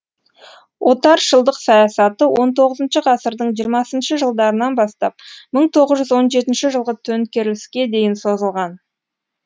отаршылдық саясаты он тоғызыншы ғасырдың жиырмасыншы жылдарынан бастап мың тоғыз жүз он жетінші жылғы төнкеріске дейін созылған